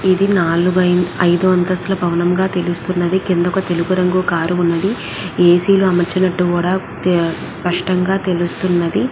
ఇది నాలుగు అయిదు అంతస్తుల భవనంగా తెలుస్తున్నది కింద ఒక తెలుపు రంగు కార్ ఉన్నది ఏసీ లు అమర్చినట్టు కూడ స్పష్టంగా తెలుస్తున్నది.